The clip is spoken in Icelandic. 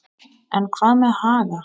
En hvað með Haga?